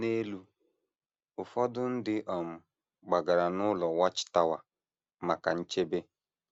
N’elu: Ụfọdụ ndị um gbagara n’ụlọ Watchtower maka nchebe